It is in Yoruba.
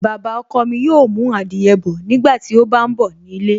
Baba ọkọ mi yóò mú adìyẹ bọ̀ nígbàtí ó bá ń bọ̀ nílé